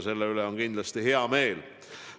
Selle üle on kindlasti hea meel.